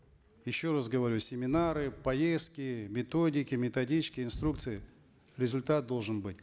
еще раз говорю семинары поездки методики методички инструкции результат должен быть